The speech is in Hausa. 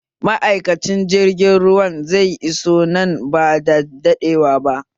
Ma'aikacin jirgin ruwan zai iso ba nan bada daɗewa ba